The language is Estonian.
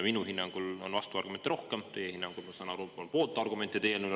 Minu hinnangul on selle eelnõu puhul rohkem vastuargumente, teie hinnangul, ma saan aru, rohkem pooltargumente.